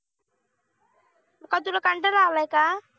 मग काय तुला कंटाळा आलाय का?